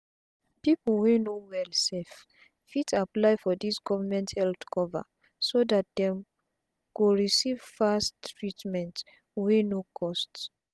pipu wey no well sef fit apply for dis government health cover so dat dem go receive fast treatment wey no cost